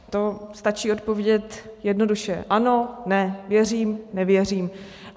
To stačí odpovědět jednoduše: Ano, ne, věřím, nevěřím.